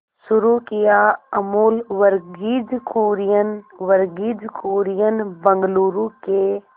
शुरू किया अमूल वर्गीज कुरियन वर्गीज कुरियन बंगलूरू के